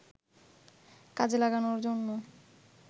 কাজে লাগানোর জন্য